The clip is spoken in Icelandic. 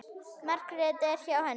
Margrét er hjá henni.